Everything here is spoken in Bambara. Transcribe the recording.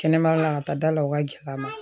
Kɛnɛmayɔrɔ la ka taa da la o ka gɛlɛn a ma